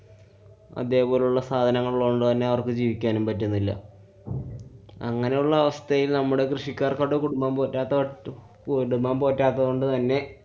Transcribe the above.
അതേപോലുള്ള സാനങ്ങളുള്ളതോണ്ടുതന്നെ അവര്‍ക്ക് ജീവിക്കാനും പറ്റുന്നില്ല. അങ്ങനെയുള്ള അവസ്ഥയില്‍ നമ്മടെ കൃഷിക്കാര്‍ക്ക് അവരുടെ കുടുംബം പോറ്റാത്ത~ കുടുംബം പോറ്റാത്തതുകൊണ്ട് തന്നെ